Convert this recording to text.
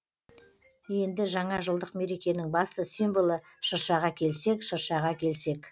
енді жаңа жылдық мерекенің басты символы шыршаға келсек шыршаға келсек